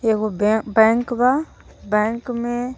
एगो बैं _बैंक बा बैंक में.